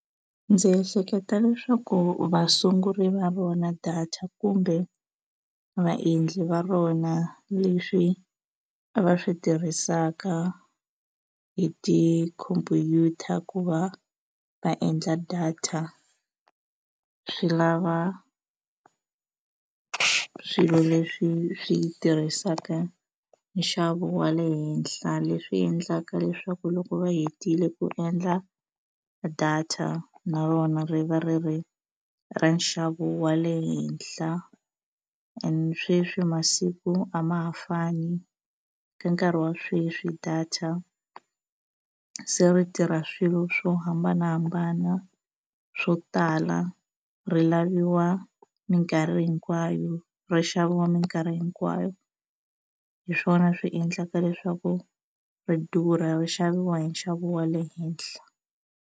Ndzi ehleketa leswaku vasunguri va rona data kumbe vaendli va rona leswi va swi tirhisaka hi ti-computer ku va va endla data swi lava swilo leswi swi tirhisaka nxavo wa le henhla leswi endlaka leswaku loko va hetile ku endla data na rona ri va ri ri ra nxavo wa le henhla and sweswi masiku a ma ha fani ka nkarhi wa sweswi data se ri tirha swilo swo hambanahambana swo tala ri laviwa mikarhi hinkwayo ra xaviwa mikarhi hinkwayo hi swona swi endlaka leswaku ri durha xaviwa hi nxavo wa le henhla.